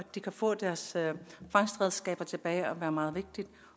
de kan få deres fangstredskaber tilbage er meget vigtigt